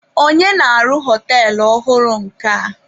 Onye na-arụ họtelụ ọhụrụ nke a?